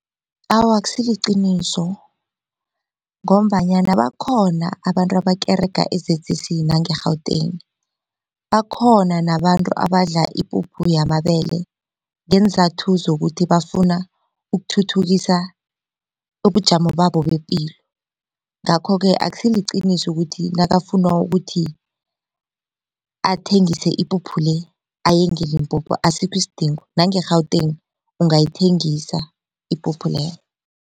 Awa, akusiliqiniso ngombanyana bakhona abantu abakerega e-Z_C_C nange-Gauteng. Bakhona nabantu abadla ipuphu yamabele ngeenzathu zokuthi bafuna ukuthuthukisa ubujamo babo bepilo. Ngakho-ke akusiliqiniso ukuthi nakafuna ukuthi athengise ipuphu le aye ngeLimpopo asikho isidingo nange-Gauteng ungayithengisa ipuphu leyo.